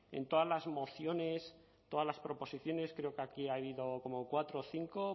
en todas las mociones todas las proposiciones creo que aquí ha habido como cuatro o cinco